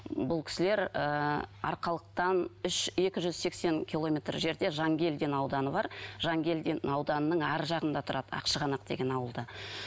бұл кісілер ыыы арқалықтан екі жүз сексен километр жерде жангелдин ауданы бар жангелдин ауданының арғы жағында тұрады ақшығанақ деген ауылда